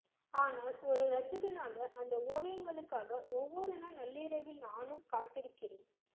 ஆனால் ஒரு ரசிகனாக அந்த ஓவியங்களுக்காக ஒவ்வொருநாள் நள்ளிரவில் நானும் காத்திருக்கிறேன்